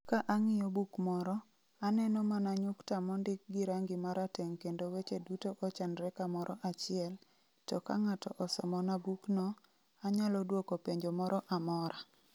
Ka ang'iyo buk moro, aneno mana nyukta mondik gi rangi ma rateng' kendo weche duto ochanore kamoro achiel, to ka ng'ato osomona bukno, anyalo dwoko penjo moro amora.